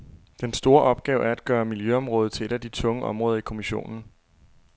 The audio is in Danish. Den store opgave er at gøre miljøområdet til et af de tunge områder i kommissionen.